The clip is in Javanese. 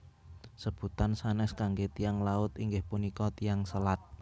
Sebutan sanés kangge Tiyang Laut inggih punika Tiyang Selat